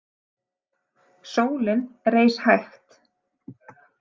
Sólin reis hægt.